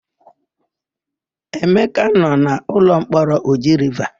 Emeka nọ n'ụlọmkpọrọ Oji Riva.